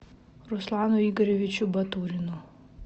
руслану игоревичу батурину